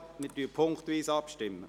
Wir stimmen punktweise ab.